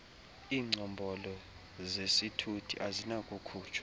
iingcombolo zesithuthi azinakukhutshwa